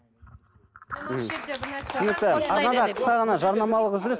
түсінікті аз ғана қысқа ғана жарнамалық үзіліс